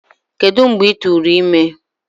Kedu mgbe ị tụrụ ime?